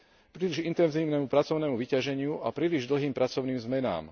príliš intenzívnemu pracovnému vyťaženiu a príliš dlhým pracovným zmenám.